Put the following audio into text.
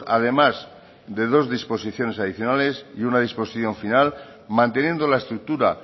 además de dos disposiciones adicionales y uno disposición final manteniendo la estructura